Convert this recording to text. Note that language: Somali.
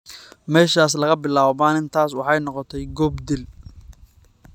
Meeshaas, laga bilaabo maalintaas, waxay noqotay goob dil.